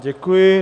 Děkuji.